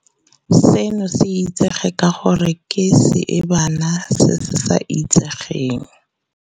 Seno se itsege ka gore ke seebana se se sa itsegeng.